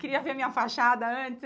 Queria ver a minha fachada antes.